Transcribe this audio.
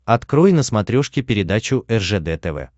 открой на смотрешке передачу ржд тв